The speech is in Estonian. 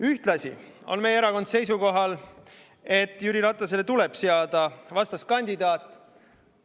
Ühtlasi on meie erakond seisukohal, et Jüri Ratasele tuleb seada vastaskandidaat.